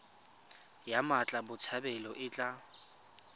ya mmatla botshabelo e tla